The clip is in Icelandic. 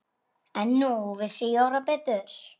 En nú vissi Jóra betur.